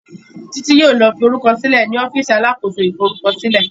Titi yóò ló forukọsilẹ ní ọ́fíìsì alákóso ìforúkọsílẹ.